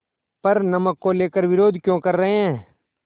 पर नमक को लेकर विरोध क्यों कर रहे हैं